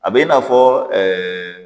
A bɛ i n'a fɔ